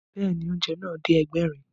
Bẹ́ẹ̀ni, oúnjẹ náà dé Ẹgbẹ̀rin